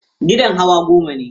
Gidan hawa goma ne.